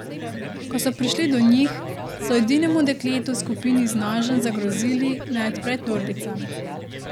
Ko so prišli do njih, so edinemu dekletu v skupini z nožem zagrozili, naj odpre torbico.